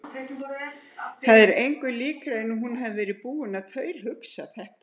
Það er engu líkara en hún hafi verið búin að þaulhugsa þetta.